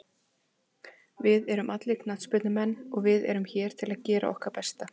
Við erum allir knattspyrnumenn og við erum hér til að gera okkar besta.